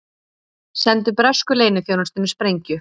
Sendu bresku leyniþjónustunni sprengju